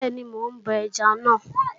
Bẹ́ẹ̀ni, mò ń bọ ẹja náà.